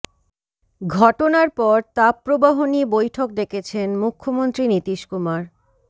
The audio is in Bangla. ঘটনার পর তাপপ্রবাহ নিয়ে বৈঠক ডেকেছেন মুখ্যমন্ত্রী নীতিশ কুমার